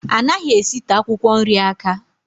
Anaghị esite akwụkwọ nri aka